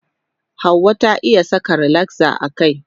Hauwa ta iya saka rilakza a kai.